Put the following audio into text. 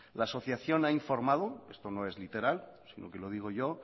la asociación ha informado esto no es literal sino que lo digo yo